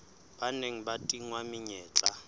ba neng ba tingwa menyetla